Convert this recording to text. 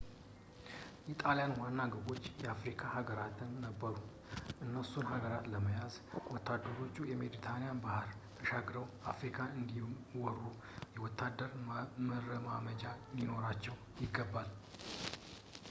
የጣሊያን ዋና ግቦች የአፍሪካ ሃጋራት ነበሩ እነሱን ሃገራት ለመያዝ ወታደሮቹ ሜዲትራኒያን ባህርን ተሻግረው አፍሪካን እንዲወሩ የወታደር መረማመጃ ሊኖራቸው ይገባል